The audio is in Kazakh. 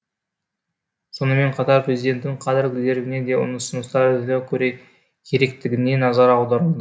сонымен қатар президенттің кадрлық резервіне де ұсыныстар әзірлеу керектігіне назар аударылды